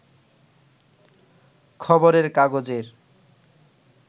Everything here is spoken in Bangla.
খবরের কাগজের